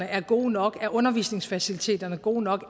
er gode nok om undervisningsfaciliteterne er gode nok